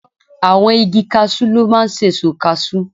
Àwọn igi casú ló máa ń sèso kasú